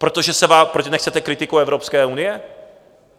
Protože nechcete kritiku Evropské unie?